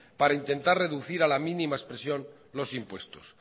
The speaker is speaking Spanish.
para intentar reducir a la mínima expresión los impuestos